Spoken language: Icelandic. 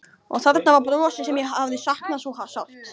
Og þarna var brosið sem ég hafði saknað svo sárt.